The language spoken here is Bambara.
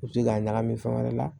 U bɛ se k'a ɲagami fɛn wɛrɛ la